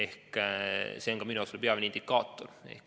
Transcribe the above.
See on ka minu jaoks peamine indikaator.